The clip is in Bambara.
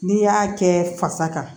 N'i y'a kɛ fasa kan